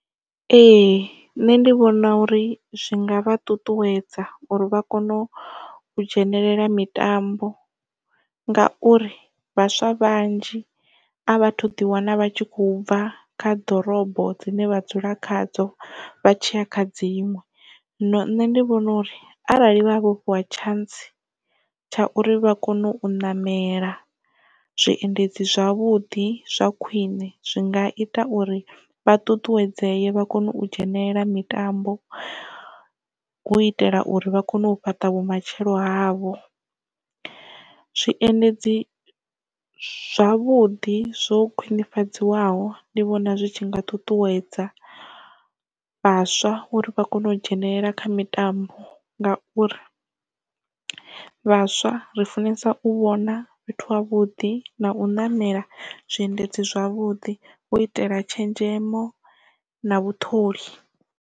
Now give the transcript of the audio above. Ee nṋe ndi vhona uri zwi nga vha ṱuṱuwedza uri vha kone u dzhenelela mitambo ngauri vhaswa vhanzhi a vha thu ḓiwana vha tshi khou bva kha ḓorobo dzine vha dzula khadzo vha tshiya kha dziṅwe. Zwino nṋe ndi vhona uri arali vha vhofhiwa tshantsi tsha uri vha kone u ṋamela zwiendedzi zwavhuḓi zwa khwiṋe zwi nga ita uri vha ṱuṱuwedzee vha kone u dzhenelela mitambo hu u itela uri vha kone u fhaṱa vhumatshelo havho zwiendedzi zwavhuḓi zwo khwinifhadziwaho ndi vhona zwi tshi nga ṱuṱuwedza vhaswa uri vha kone u dzhenelela kha mitambo ngauri vhaswa ri funesa u vhona fhethu havhuḓi na u namela zwiendedzi zwavhuḓi u itela tshenzhemo na vhaṱholi.